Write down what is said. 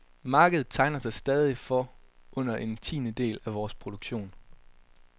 Markedet tegner sig stadig for under en tiendedel af vores produktion.